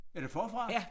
Er det forfra?